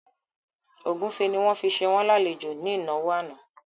Ògúnfe ni wọ́n fi ṣe wọ́n lálejò ní ìnáwó àná